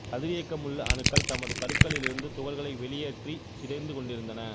கதிரியக்கமுள்ள அணுக்கள் தமது கருக்களிலிருந்து துகள்களை வெளியேற்றிச் சிதைந்து கொண்டிருந்தன